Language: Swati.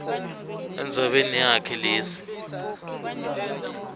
endzabeni yakhe letsi